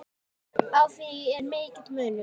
Á því er mikill munur.